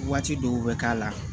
Waati dɔw bɛ k'a la